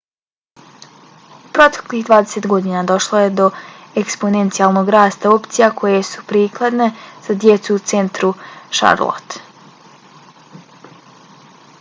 u proteklih 20 godina došlo je do eksponencijalnog rasta opcija koje su prikladne za djecu u centru charlottea